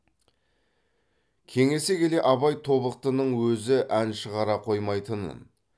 кеңесе келе абай тобықтының өзі ән шығара қоймайтынын